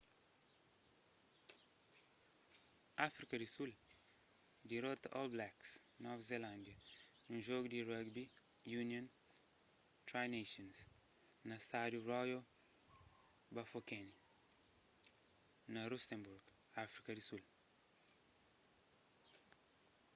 áfrika di sul dirota all blacks nova zelándia num jogu di di rugby union tri nations na stádiu royal bafokeng na rustenburg áfrika di sul